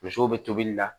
Musow bɛ tobili la